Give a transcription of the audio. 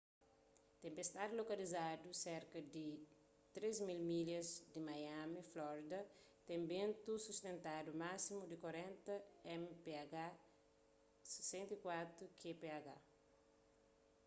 tenpestadi lokalizadu serka di 3.000 milhas di miami florida ten bentu sustentadu másimu di 40 mph 64 kph